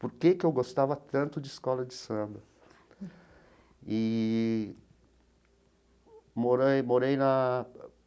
Por que que eu gostava tanto de escola de samba? Eee morei morei na.